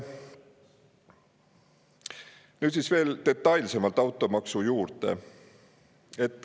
Nüüd siis veel detailsemalt automaksust.